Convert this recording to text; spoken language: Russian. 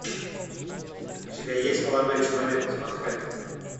у тебя есть молодой человек из манхэттена